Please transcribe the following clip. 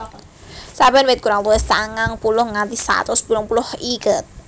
Saben wit kurang luwih sangang puluh nganti satus pitung puluh iket